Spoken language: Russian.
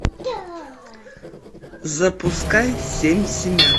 запускай семь семян